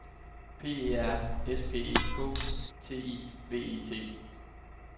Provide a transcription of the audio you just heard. P E R S P E K T I V E T